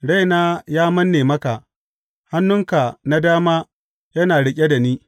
Raina ya manne maka; hannunka na dama yana riƙe da ni.